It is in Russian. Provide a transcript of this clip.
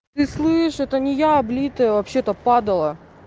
ты слышишь это не я облитая вообще-то падала